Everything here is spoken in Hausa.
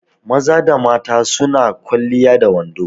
Maza da mata su na kwaliya da wando.